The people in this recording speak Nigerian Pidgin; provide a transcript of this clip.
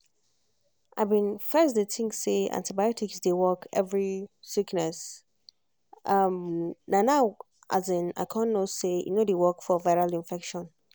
i bin first dey think say antibiotics dey work every sickness um na now i um con know say e no dey work for viral infection.